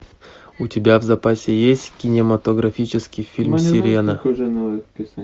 у тебя в запасе есть кинематографический фильм серена